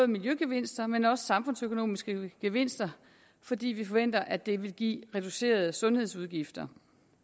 miljøgevinster men også samfundsøkonomiske gevinster fordi vi forventer at det vil give reducerede sundhedsudgifter